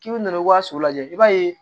K'i bɛ na i ka so lajɛ i b'a ye